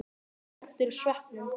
Slepptirðu sveppunum?